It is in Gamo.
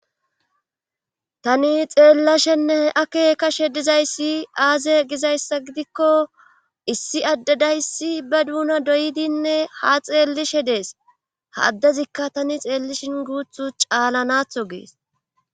Tani xeellashenne ake kashe dizayssi aaze gizayssa gidikko issi addedayssi ba duuna doydinne ha xeellishe dees ha addezikka tani xeellishin guuthu caalanatho gees.